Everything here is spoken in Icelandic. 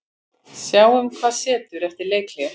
Sjáum hvað setur eftir leikhlé.